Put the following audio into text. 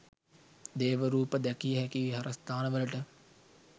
දේව රූප දැකිය හැකි විහාරස්ථානවලට